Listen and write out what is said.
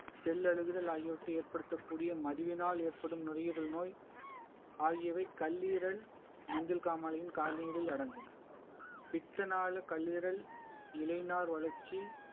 செல் அழுகுதல் ஆகியவற்றை ஏற்படுத்தக்கூடிய மதுவினால் ஏற்படும் நுரையீரல் நோய் ஆகியவை கல்லீரல் மஞ்சள் காமாலையின் கால் நீரில் அடங்கும் பித்தனாள கல்லீரல் இலை நார் வளர்ச்சி